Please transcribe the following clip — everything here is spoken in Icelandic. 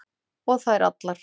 Og þær allar.